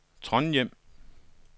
Trondhjem